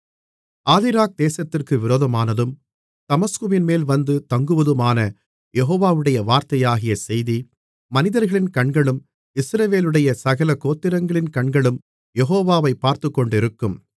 ஆதிராக் தேசத்திற்கு விரோதமானதும் தமஸ்குவின்மேல் வந்து தங்குவதுமான யெகோவாவுடைய வார்த்தையாகிய செய்தி மனிதர்களின் கண்களும் இஸ்ரவேலுடைய சகல கோத்திரங்களின் கண்களும் யெகோவாவை பார்த்துக்கொண்டிருக்கும்